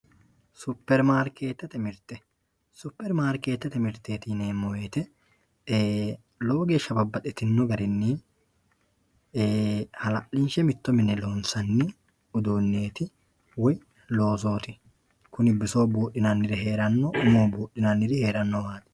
Superimaarikeettete mirte superimaarikeettete mirteeti yineemmo woyte lowo geeshsha babbaxxitino garinni haal'linshe mitto mine loonsanni uduunneeti woy loosooti kuni bisoho buudhinanniri heeranno umoho buudhinanniri heerannowati.